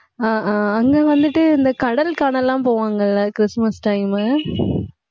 ஆஹ் ஆஹ் அங்க வந்துட்டு இந்த கடல் காணல் எல்லாம் போவாங்கல்ல கிறிஸ்துமஸ் time மு